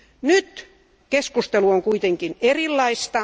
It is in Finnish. Nyt keskustelu on kuitenkin erilaista.